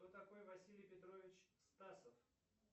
кто такой василий петрович стасов